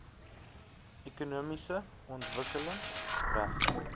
ekonomiese ontwikkeling reg